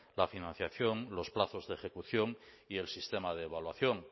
la financiación los plazos de ejecución y el sistema de evaluación